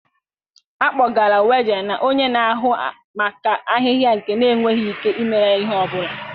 A kpọgara Waje na onye na-ahụ maka ahịhịa nke na-enweghị ike imere ya ihe ọ bụla.